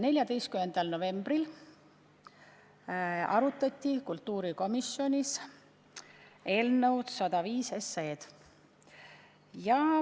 14. novembril arutati kultuurikomisjonis eelnõu 105.